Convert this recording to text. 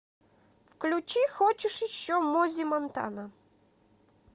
включи хочешь еще мози монтана